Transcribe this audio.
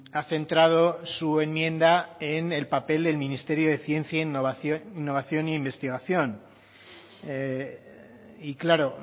ha centrado su enmienda en el papel del ministerio de ciencia innovación e investigación y claro